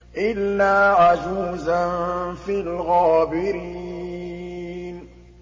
إِلَّا عَجُوزًا فِي الْغَابِرِينَ